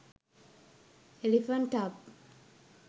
elephant tub